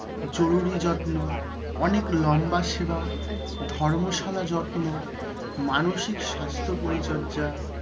জরুরী যত্ন, অনেক লম্বা সেবা, ধর্মশালা যত্ন, মানসিক স্বাস্থ্য পরিচর্যা।